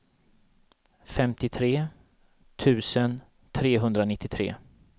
femtiotre tusen trehundranittiotre